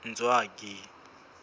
ntswaki